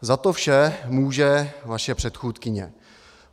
Za to vše může vaše předchůdkyně.